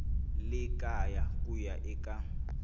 le kaya ku ya eka